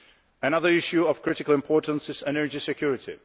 Another issue of critical importance is energy security.